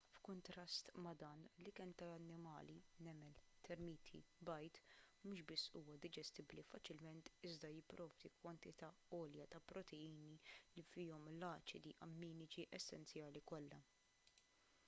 b’kuntrast ma’ dan l-ikel tal-annimali nemel termiti bajd mhux biss huwa diġestibbli faċilment iżda jipprovdi kwantità għolja ta’ proteini li fihom l-aċidi amminiċi essenzjali kollha